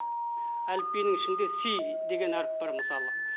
әліпбиінің ішінде си деген әріп бар мысалы